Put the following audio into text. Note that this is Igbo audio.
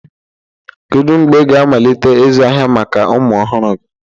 Kedu mgbe ị ga-amalite ịzụ ahịa maka ụmụ ọhụrụ gị?